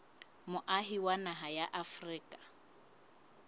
moahi wa naha ya afrika